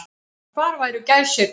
Og hvar væru gæsirnar.